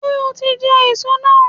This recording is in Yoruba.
Ṣé o ti jẹ èso náà